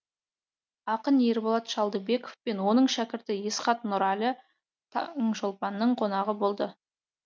ақын ерболат шалдыбеков пен оның шәкірті есхат нұрәлі таңшолпанның қонағы болды